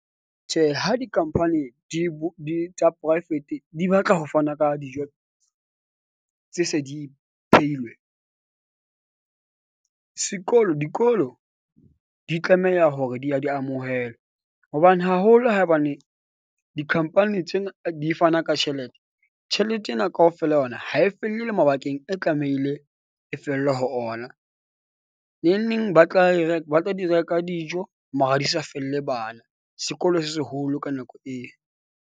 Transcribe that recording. Tjhe, ha di-company di di tsa poraefete, di batla ho fana ka dijo tse se di phehilwe. Sekolo dikolo di tlameha hore di ya di amohelwa hobane haholo hobane di-company tsena di fana ka tjhelete. Tjhelete ena kaofela ha yona ha e felle le mabakeng, e tlamehile e fella ho ona. Neng neng ba tla e re ba tla di reka dijo mara di sa felle bana. Sekolo se seholo ka nako eo.